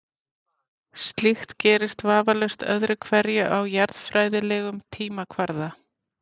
Slíkt gerist vafalaust öðru hverju á jarðfræðilegum tímakvarða.